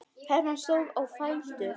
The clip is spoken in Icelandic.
Hermann stóð á fætur.